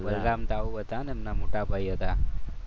બલરામ તાવ હતા એમના મોટાભાઈ હતા.